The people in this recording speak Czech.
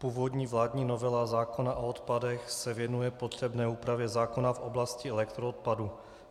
Původní vládní novela zákona o odpadech se věnuje potřebné úpravě zákona v oblasti elektroodpadů.